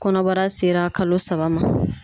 Kɔnɔbara sera kalo saba ma